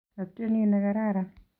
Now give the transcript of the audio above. Atyeni negararan